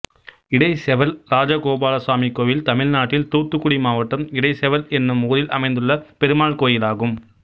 இடைச்செவல் ராஜகோபாலசாமி கோயில் தமிழ்நாட்டில் தூத்துக்குடி மாவட்டம் இடைச்செவல் என்னும் ஊரில் அமைந்துள்ள பெருமாள் கோயிலாகும்